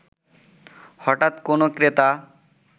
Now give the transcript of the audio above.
হঠাৎ কোনো ক্রেতা